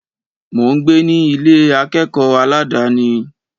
Mò ń gbé ní Ilé akẹ́kọ̀ọ́ aládàni.